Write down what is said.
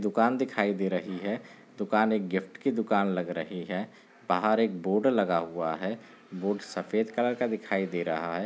दुकान दिखाई दे रही है दुकान एक गिफ्ट की दुकान लग रही है बाहर एक बोर्ड लगा हुआ है बोर्ड सफेद कलर का दिखाई दे रहा है।